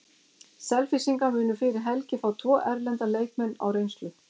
Selfyssingar munu fyrir helgi fá tvo erlenda leikmenn á reynslu.